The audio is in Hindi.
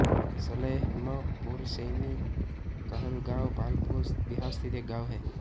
सलेमपुरसैनी कहलगाँव भागलपुर बिहार स्थित एक गाँव है